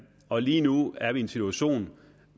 og lige nu er vi i en situation